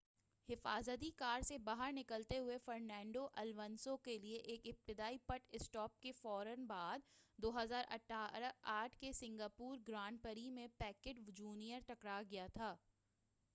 حفاظتی کار سے باہر نکالتے ہوئے فرنانڈو الونسو کیلئے ایک ابتدائی پٹ اسٹاپ کے فورا بعد 2008 کے سنگاپور گرانڈ پری میں پیکیٹ جونیئر ٹکرا گیا تھا